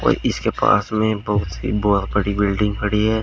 इसके पास में बहुत ही ब बड़ी बिल्डिंग खड़ी है।